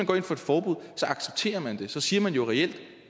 går ind for forbud accepterer man det så siger man jo reelt at